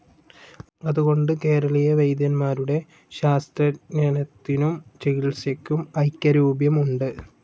അതുകൊണ്ട് കേരളീയ വൈദ്യന്മാരുടെ ശാസ്ത്രജ്ഞാനത്തിനും ചികിത്സയ്ക്കും ഐകരൂപ്യം ഉണ്ട്.